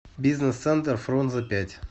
бизнес центр фрунзе пять